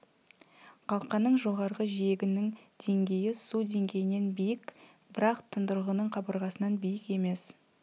қалқаның жоғарғы жиегінің деңгейі су деңгейінен биік бірақ тұндырғының қабырғасынан биік емес